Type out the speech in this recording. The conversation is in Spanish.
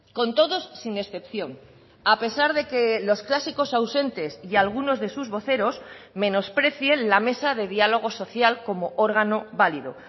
con todos sin excepción a pesar de que los clásicos ausentes y algunos de sus voceros menosprecien la mesa de diálogo social como órgano válido